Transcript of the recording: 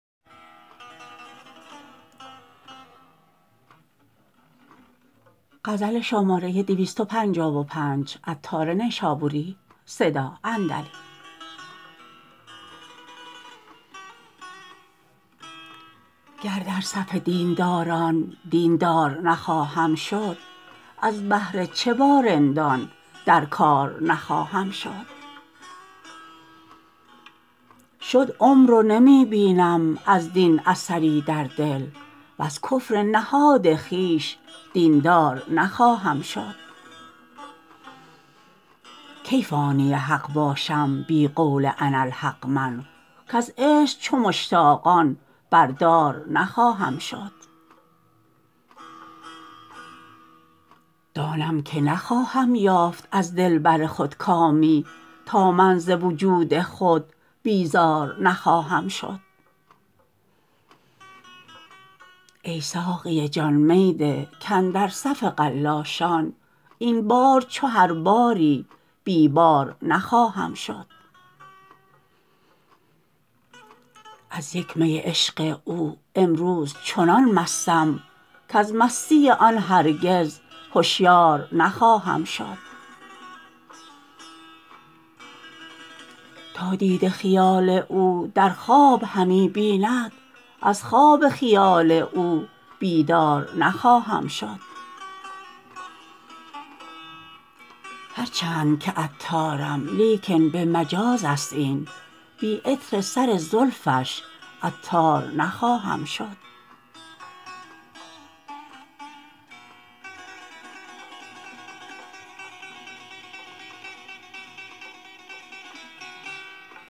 گر در صف دین داران دین دار نخواهم شد از بهر چه با رندان در کار نخواهم شد شد عمر و نمی بینم از دین اثری در دل وز کفر نهاد خویش دین دار نخواهم شد کی فانی حق باشم بی قول اناالحق من کز عشق چو مشتاقان بردار نخواهم شد دانم که نخواهم یافت از دلبر خود کامی تا من ز وجود خود بیزار نخواهم شد ای ساقی جان می ده کاندر صف قلاشان این بار چو هر باری بی بار نخواهم شد از یک می عشق او امروز چنان مستم کز مستی آن هرگز هشیار نخواهم شد تا دیده جمال او در خواب همی بیند از خواب و خیال او بیدار نخواهم شد هرچند که عطارم لیکن به مجاز است این بی عطر سر زلفش عطار نخواهم شد